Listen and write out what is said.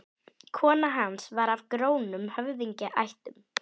Nesjavelli, og Sandey myndaðist úti í Þingvallavatni.